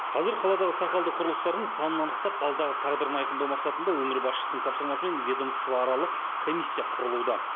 қазір қаладағы сақалды құрылыстардың санын анықтап алдағы тағдырын айқындау мақсатында өңір басшысының тапсырмасымен ведомствоаралық комиссия құрылуда